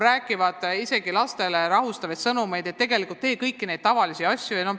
Lastele edastatakse rahustavaid sõnumeid, et tehku nad kõiki neid tavalisi asju, mida tunniski.